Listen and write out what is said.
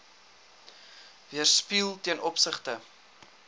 weerspieël ten opsigte